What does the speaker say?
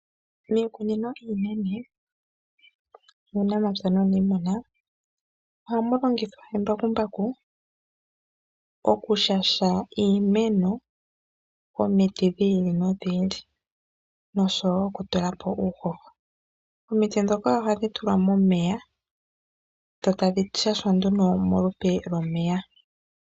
Miikunino iinene yuunamapya nuuniimuna ohamu longithwa embakumbaku okushasha iimeno omiti dhi ili nodhi ili noshowo okutula po uuhoho. Omiti ndhoka ohadhi tulwa momeya dho tadhi shashwa nduno molupe lwomeya.